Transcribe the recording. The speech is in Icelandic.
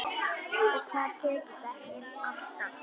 Og það tekst ekki alltaf.